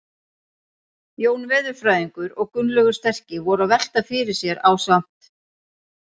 Jón veðurfræðingur og Gunnlaugur sterki voru að velta fyrir sér ásamt